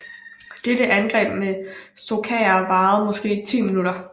Dette angreb med Stukaer varede måske 10 minutter